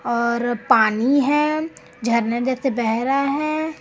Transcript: और पानी है झरने जैसे बह रहा है।